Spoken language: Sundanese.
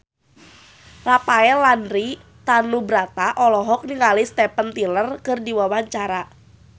Rafael Landry Tanubrata olohok ningali Steven Tyler keur diwawancara